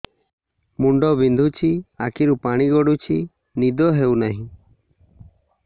ମୁଣ୍ଡ ବିନ୍ଧୁଛି ଆଖିରୁ ପାଣି ଗଡୁଛି ନିଦ ହେଉନାହିଁ